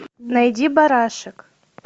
найди барашек